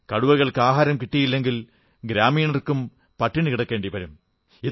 കടുവകൾക്ക് ആഹാരം കിട്ടിയില്ലെങ്കിൽ ഗ്രാമീണർക്കും പട്ടിണികിടക്കേണ്ടിവരും